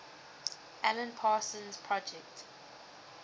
alan parsons project